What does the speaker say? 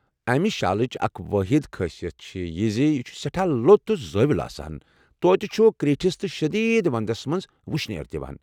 امہِ شالٕچ اکھ وٲحد خٲصیتھ چھےٚ زِ یہِ چھُ سٮ۪ٹھاہ لوٚت تہٕ زٲویۭوُل آسان، توتہِ چھُ کریٖٹھس تہٕ شدیٖد ونٛدس منٛز و شنیر دِوان۔